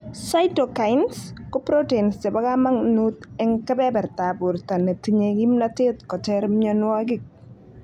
Cytokines ko proteins chebo kamanut en keberatab borto netinye kimnotet koter myonwogik